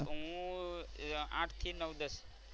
હું આઠ થી નવ દસ.